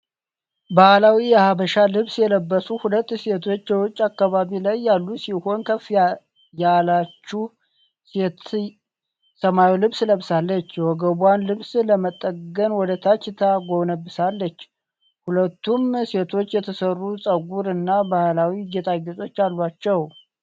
ባህላዊ የሀበሻ ልብስ የለበሱ ሁለት ሴቶች የውጭ አካባቢ ላይ ያሉ ሲሆን ከፍ ያለችው ሴት ሰማያዊ ልብስ ለብሳ፣ የወገቧን ልብስ ለመጠገን ወደ ታች ተጎንብሳለች። ሁለቱም ሴቶች የተሰሩ ጸጉር እና ባህላዊ ጌጣጌጦች አሏቸው።